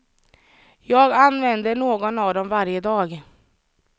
Jag använder någon av dem varje dag.